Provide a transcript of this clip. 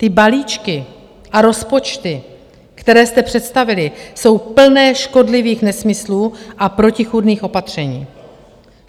Ty balíčky a rozpočty, které jste představili, jsou plné škodlivých nesmyslů a protichůdných opatření.